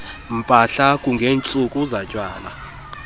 mpahla kungentsuku zatywala